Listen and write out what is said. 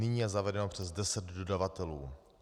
Nyní je zavedeno přes deset dodavatelů.